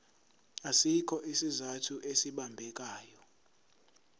asikho isizathu esibambekayo